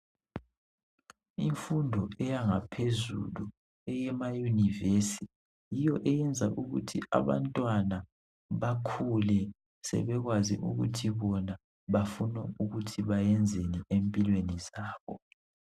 Imfundo eyanga phezulu eyemayunivesi yiyo eyenza ukuthi abantwana bakhule sebekwazi ukuthi bona bafuna ukuthi bayenzeni empilweni zabo .